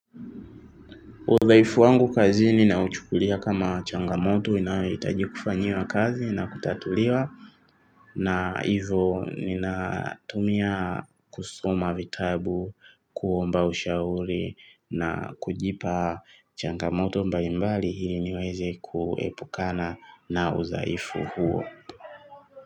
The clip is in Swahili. Udhaifu wangu kazini nauchukulia kama changamoto inayoitaji kufanyiwa kazi na kutatuliwa na hivyo ninatumia kusoma vitabu, kuomba ushauri na kujipa changamoto mbalimbali hili niweze kuepukana na udhaifu huo.